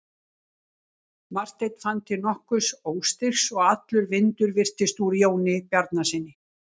Marteinn fann til nokkurs óstyrks og allur vindur virtist úr Jóni Bjarnasyni.